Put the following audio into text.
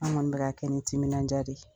An kɔni bɛ ka kɛ ni timinandiya de ye.